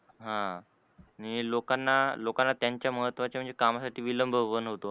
ह लोकांना लोकांना त्यांच्या महत्त्वाच्या म्हणजे कामासाठी विलंब पण होतो.